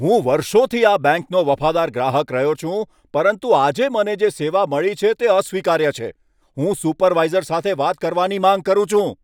હું વર્ષોથી આ બેંકનો વફાદાર ગ્રાહક રહ્યો છું, પરંતુ આજે મને જે સેવા મળી છે તે અસ્વીકાર્ય છે. હું સુપરવાઇઝર સાથે વાત કરવાની માંગ કરું છું!